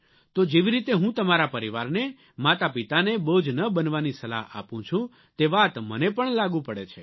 તો જેવી રીતે હું તમારા પરિવારને માતાપિતાને બોજ ન બનવાની સલાહ આપું છું તે વાત મને પણ લાગુ પડે છે